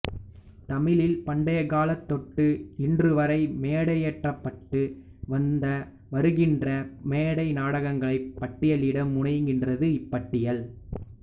தமிழில் பண்டைக்காலந்தொட்டு இன்றுவரை மேடையேற்றப்பட்டு வந்த வருகின்ற மேடை நாடகங்களினைப் பட்டியலிட முனைகின்றது இப்பட்டியல்